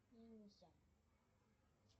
ниндзя